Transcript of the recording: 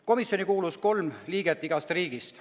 Komisjoni kuulus kolm liiget igast riigist.